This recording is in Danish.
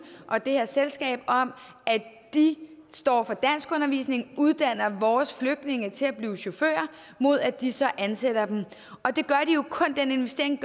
og det her selskab om at de står for danskundervisning uddanner vores flygtninge til at blive chauffører mod at de så ansætter dem den investering